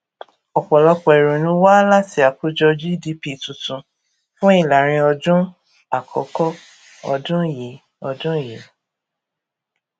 ọpọlọpọ ìrònú wá láti àkójọ gdp tuntun fún ìlàrinọdún àkọkọ ọdún yìí ọdún yìí